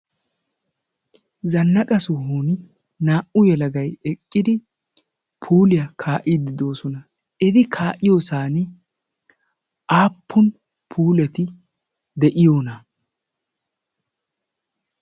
Zannaqa sohuwani naa"u yelagayi eqqidi puuliya kaa"iiddi de"oosona. Eti kaa"iyosan aappun puuleti de"iyonaa?